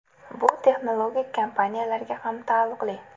Bu texnologik kompaniyalarga ham taalluqli.